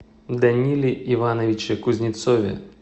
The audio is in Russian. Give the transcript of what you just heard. даниле ивановиче кузнецове